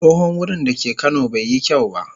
Tsohon wurin da ke kano bai yi kyau ba.